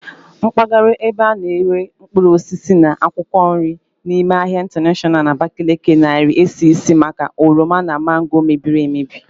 Mpagara ebe ana ere mkpuruosisi na akwụkwọ nri n'ime ahia intanashọnal na Abakaliki narii esi isi maka oroma na mangooro mebiri emebi.